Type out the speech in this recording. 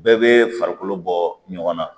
Bɛɛ bɛ farikolo bɔ ɲɔgɔn na